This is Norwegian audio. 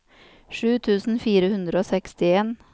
sju tusen fire hundre og sekstien